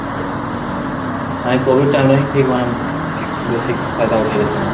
ଏଇ COVID time ଟା ଠିକ ମାନେ ବେଶୀ ଫାଇଦା ଉଠେଇଦେଲେ ସେମାନେ